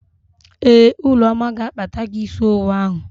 Ee, Ụlọma ga-akpata gị ísí owu ahụ.